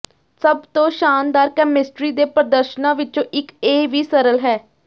ਸਭ ਤੋਂ ਸ਼ਾਨਦਾਰ ਕੈਮਿਸਟਰੀ ਦੇ ਪ੍ਰਦਰਸ਼ਨਾਂ ਵਿੱਚੋਂ ਇੱਕ ਇਹ ਵੀ ਸਰਲ ਹੈ